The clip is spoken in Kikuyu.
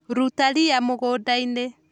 Ruta ria mũgũnda-inĩ.